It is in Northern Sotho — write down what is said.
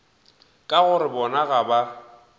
ka gore bona ga ba